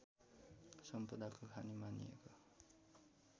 सम्पदाको खानी मानिएको